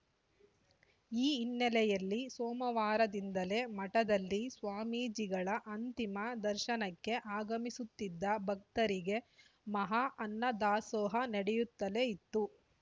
ಈ ಹಿನ್ನೆಲೆಯಲ್ಲಿ ಸೋಮವಾರದಿಂದಲೇ ಮಠದಲ್ಲಿ ಸ್ವಾಮೀಜಿಗಳ ಅಂತಿಮ ದರ್ಶನಕ್ಕೆ ಆಗಮಿಸುತ್ತಿದ್ದ ಭಕ್ತರಿಗೆ ಮಹಾ ಅನ್ನದಾಸೋಹ ನಡೆಯುತ್ತಲೇ ಇತ್ತು